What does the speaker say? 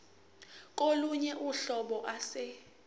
kolunye uhlobo ase